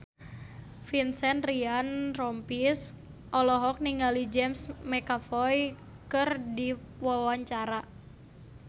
Vincent Ryan Rompies olohok ningali James McAvoy keur diwawancara